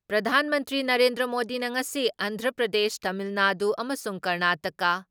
ꯄ꯭ꯔꯙꯥꯟ ꯃꯟꯇ꯭ꯔꯤ ꯅꯔꯦꯟꯗ꯭ꯔ ꯃꯣꯗꯤꯅ ꯉꯁꯤ ꯑꯟꯙ꯭ꯔ ꯄ꯭ꯔꯗꯦꯁ, ꯇꯥꯃꯤꯜꯅꯥꯗꯨ ꯑꯃꯁꯨꯡ ꯀꯔꯅꯥꯇꯛꯀꯥ